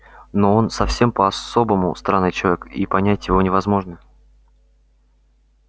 но он совсем по-особому странный человек и понять его невозможно